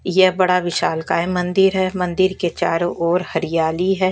ये बड़ा विशालकाय मंदिर है मंदिर के चारों ओर हरियाली है।